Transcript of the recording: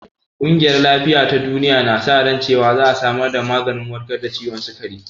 Ƙungiyar lafiya ta duniya na sa ran cewan za a samar da maganin warkar da ciwon sikari